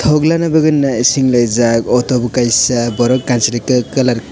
ungla ni bagui nai sinlaijak auto bo kaisa borok kanchwli ke kalar.